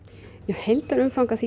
heildarumfang